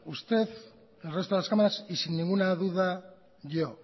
usted el resto de las cámaras y sin ninguna duda yo